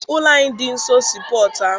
Ụlọ anyị dị nso sii pọtụ ahụ.